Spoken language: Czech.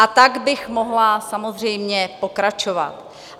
A tak bych mohla samozřejmě pokračovat.